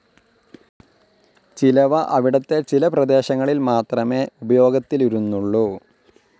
ചിലവ അവിടത്തെ ചില പ്രദേശങ്ങളിൽ മാത്രമേ ഉപയോഗത്തിലിരുന്നുള്ളു.